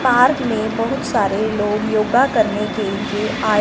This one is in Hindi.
पार्क में बहुत सारे लोग योगा करने के लिए आए--